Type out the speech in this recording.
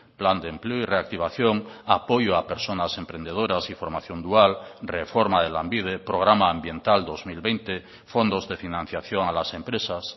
plan de empleo y reactivación apoyo a personas emprendedoras y formación dual reforma de lanbide programa ambiental dos mil veinte fondos de financiación a las empresas